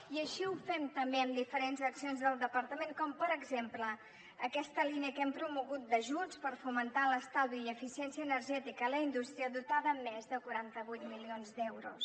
i així ho fem també amb diferents accions del departament com per exemple aquesta línia que hem promogut d’ajuts per fomentar l’estalvi i eficiència energètica en la indústria dotada amb més de quaranta vuit milions d’euros